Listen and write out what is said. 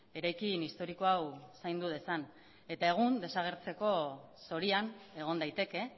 eraikin historiko hau zaindu dezan eta egun desagertzeko zorian egon daiteke